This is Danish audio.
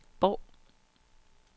Bov